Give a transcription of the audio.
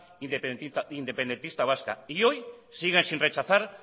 independentista vasca y hoy siguen sin rechazar